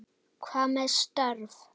Hvað með störf?